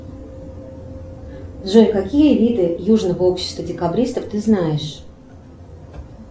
джой какие виды южного общества декабристов ты знаешь